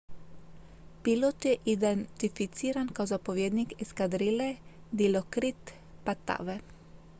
pilot je identificiran kao zapovjednik eskadrile dilokrit pattavee